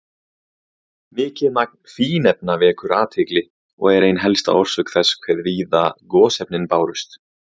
Mikið magn fínefna vekur athygli og er ein helsta orsök þess hve víða gosefnin bárust.